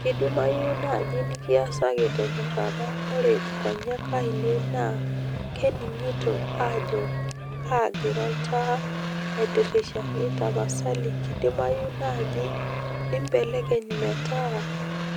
kidimayu naaji nikiasaki te nyorrata ore inkoyiek ainei naa kning'ito ajo kaagira oltaa aitirrishaki tapasali kidimayu naaji nibelekeny metaa